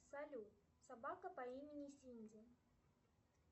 салют собака по имени синди